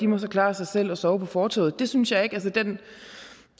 må klare sig selv og sove på fortovet det synes jeg ikke den